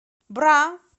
бра